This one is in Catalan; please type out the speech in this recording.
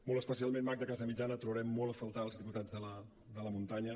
molt especialment magda casamitjana et trobarem molt a faltar els diputats de la muntanya